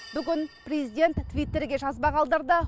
бүгін президент твиттерге жазба қалдырды